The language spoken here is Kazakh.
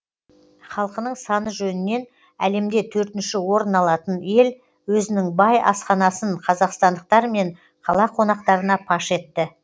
халқының саны жөнінен әлемде төртінші орын алатын ел өзінің бай асханасын қазақстандықтар мен қала қонақтарына паш етті